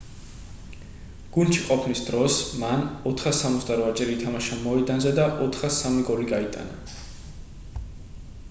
გუნდში ყოფნის დროს მან 468-ჯერ ითამაშა მოედანზე და 403 გოლი გაიტანა